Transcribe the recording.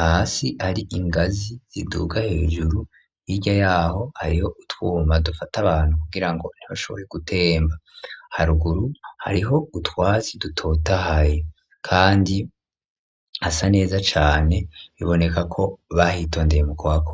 hasi hari ingazi, ziduga hejuru, hirya y'aho, hariho utwuma, dufata abantu, kugira ngo, ntibashobore gutemba; haruguru, hariho utwatsi dutotahaye, kandi hasa neza cane, biboneka ko, bahitondeye, mu kuhakora.